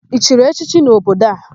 I chiri echichi n'obodo a?